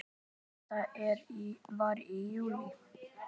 Þetta var í júlí.